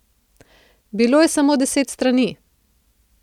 Bilo je samo deset strani.